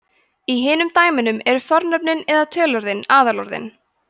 í hinum dæmunum eru fornöfnin eða töluorðin aðalorðin